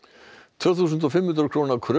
tvö þúsund og fimm hundruð króna kröfur